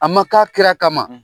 A ma k'a kira kama.